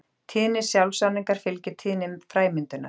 Tíðni sjálfsáningar fylgir tíðni fræmyndunar.